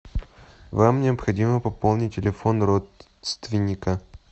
вам необходимо пополнить телефон родственника